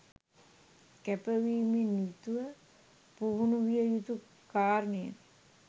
කැපවීමෙන් යුතුව පුහුණු විය යුතු කාරණයකි.